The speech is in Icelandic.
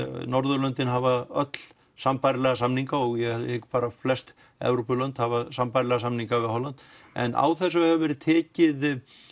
Norðurlöndin hafa öll sambærilega samninga og ég hygg flest Evrópulönd hafa sambærilega samninga við Holland en á þessu hefur verið tekið